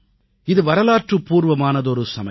இது வரலாற்றுபூர்வமானதொரு சமயம்